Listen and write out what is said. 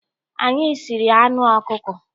Anyị siri anụ ọkụkọ.